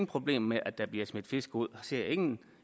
problem med at der bliver smidt fisk ud og ser ingen